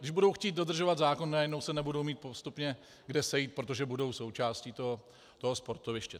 Když budou chtít dodržovat zákon, najednou se nebudou mít postupně kde sejít, protože budou součástí toho sportoviště.